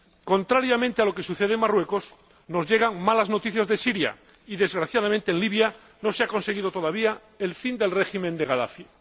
Contrariamente a lo que sucede en Marruecos, nos llegan malas noticias de Siria, y, desgraciadamente, en Libia no se ha conseguido todavía el fin del régimen de Gadafi.